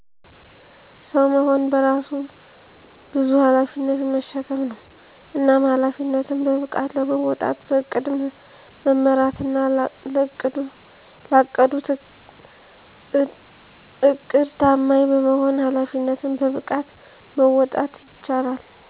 ሰዉ መሆን በራሱ በዙ ኃላፊነትን መሸከም ነዉ። እናም ኃላፊነትን በብቃት ለመወጣት በዕቅድ መመራትና ላቀዱት ዕድድ ታማኝ በመሆን ኃላፊነትን በብቃት መወጣት ይቻላል።